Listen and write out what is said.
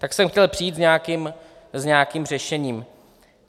Tak jsem chtěl přijít s nějakým řešením.